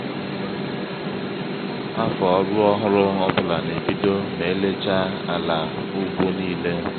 afọ ọrụ ọhụrụ ọbula n'ebido ma elechaa ala ugbo nílé.